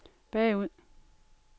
bagud